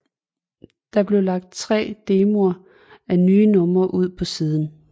Der bliver lagt 3 demoer af nye numre ud på siden